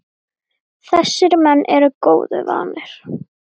Þessir menn eru góðu vanir.